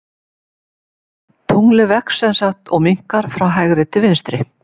Tunglið vex sem sagt og minnkar frá hægri til vinstri.